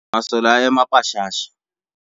masole a ema pashasha